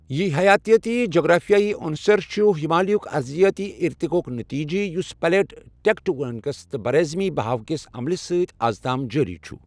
یہِ حیاتیاتی جغرافیائی عُنصر چھِ ہمالیہ ہٕک ارضیاتی ارتقاءُک نتیجہِ یُس پلیٹ ٹیکٹونکس تہٕ براعظمی بہاوکِس عملہِ سۭتۍ از تام جٲری چھُ۔